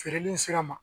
Feereli in sira ma